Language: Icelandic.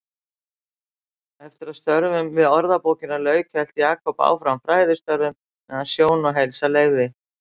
Eftir að störfum við Orðabókina lauk hélt Jakob áfram fræðistörfum meðan sjón og heilsa leyfði.